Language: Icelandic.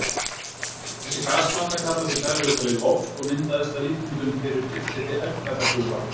Þessi gasblanda kallast í daglegu tali loft og myndaðist að líkindum fyrir tilstilli eldfjallagufa.